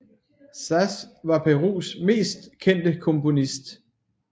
Sas var Perus mest kendte komponist